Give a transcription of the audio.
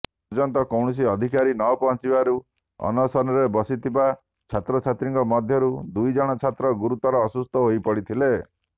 ପର୍ଯ୍ୟନ୍ତ କୌଣସି ଅଧିକାରୀ ନପହଞ୍ଚିବାରୁ ଅନଶନରେ ବସିଥିବା ଛାତ୍ରଛାତ୍ରୀଙ୍କ ମଧ୍ୟରୁ ଦୁଇ ଜଣ ଛାତ୍ର ଗୁରୁତର ଅସୁସ୍ଥ ହୋଇପଡିଥିଲେ